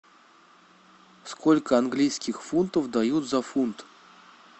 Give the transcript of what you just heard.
сколько английских фунтов дают за фунт